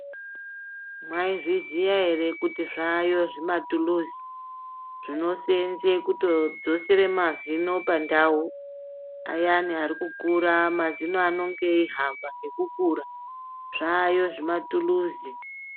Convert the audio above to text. Mai zviziya ere kuti zvayo zvi matuluzi zvino senze kuto dzosere mazino pandau ayani ari kukura mazino anonge eyi hamba ngeku kura zvayo zvima tuluzi.